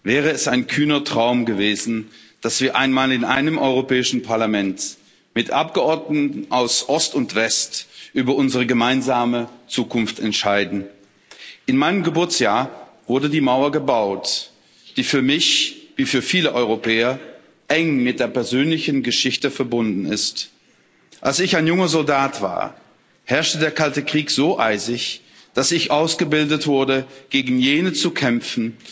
Herr Präsident, sehr geehrte Damen und Herren! Als ich geboren wurde, wäre es ein kühner Traum gewesen, dass wir einmal in einem Europäischen Parlament mit Abgeordneten aus Ost und West über unsere gemeinsame Zukunft entscheiden. In meinem Geburtsjahr wurde die Mauer gebaut, die für mich wie für viele Europäer eng mit der persönlichen Geschichte verbunden ist. Als ich ein junger Soldat war, herrschte der Kalte Krieg so eisig, dass ich ausgebildet wurde, gegen jene zu kämpfen,